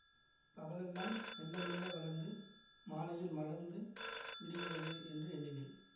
பகலெல்லாம் மெல்ல மெல்ல வளர்ந்து மாலையில் மலர்ந்து விடுகிறதே என்று எண்ணினேன்